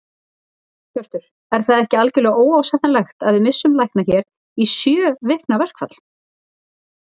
Hjörtur: Er það ekki algjörlega óásættanlegt að við missum lækna hér í sjö vikna verkfall?